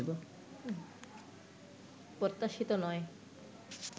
প্রত্যাশিত নয়